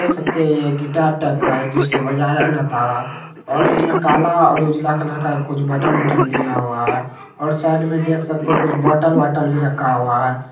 --देख सकते है ये गिटारटाइप का है जिसको बजाया जाता है और इसमें काला और उजला कलर का कुछ बटन वटन दिया हुआ है और साइड में देख सकते है बॉटल वॉटल भी रखा हुआ है।